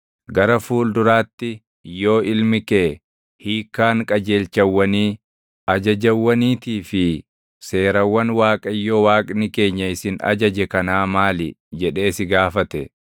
Gara fuul-duraatti yoo ilmi kee, “Hiikkaan qajeelchawwanii, ajajawwaniitii fi seerawwan Waaqayyo Waaqni keenya isin ajaje kanaa maali?” jedhee si gaafate,